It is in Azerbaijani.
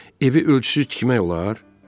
Evi ölçüsüz tikmək olar?